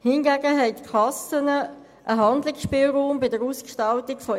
Hingegen haben die Kassen einen Handlungsspielraum bei der Auswahl ihrer Leistungen.